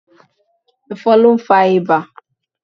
Ẹ̀fọ̀n ló ń fa ibà.